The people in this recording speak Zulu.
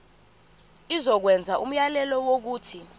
izokwenza umyalelo wokuthi